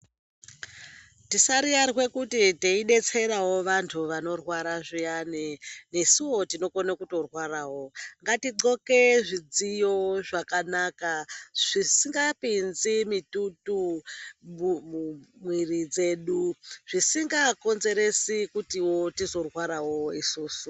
Tisariyarwe kuti teidetserawo vantu vanorwara zviyani nesuwo tinokona kutorwarawo. Ngatigqoke zvidziyo zvakanaka zvisingapinzi mitutu mumwiri dzedu zvisingakonzeresi kuti tizorwarawo isusu.